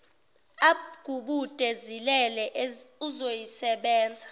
agubude zilele uzoyisebenza